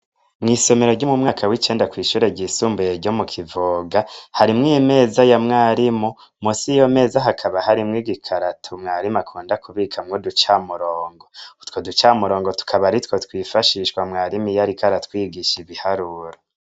Mw'isomero ry'umu mwaka w'icenda kw'ishure ryisumbuye ryo mu kivuga harimwo imeza ya mwarimu musi iyo meza hakaba harimwo igikarato mwarimu akunda kubika mwo ducamurongo utwo duca murongo tukaba aritwo twifashishwa mwarimu iyoariko aratwigisha ibiharuro.